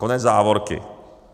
Konec závorky.